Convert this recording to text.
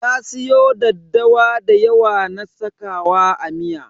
Ta siyo daddawa da yawa na sakawa a miya.